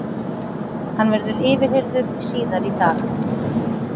Hann verður yfirheyrður síðar í dag